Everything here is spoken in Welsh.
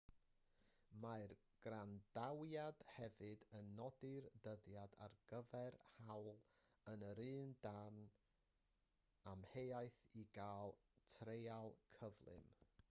mae'r gwrandawiad hefyd yn nodi'r dyddiad ar gyfer hawl yr un dan amheuaeth i gael treial cyflym